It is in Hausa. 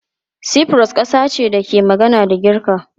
Cyprus kasa ce da ke magana da Girka.